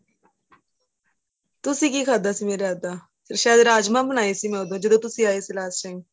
ਤੁਸੀਂ ਕੀ ਖਾਦਾਂ ਸੀ ਮੇਰੇ ਹੱਥ ਦਾ ਸਹਿਦ ਰਾਜਮਾ ਬਣਾਏ ਸੀ ਮੈਂ ਉਹਦੋ ਜਦੋਂ ਤੁਸੀਂ ਆਏ ਸੀ last time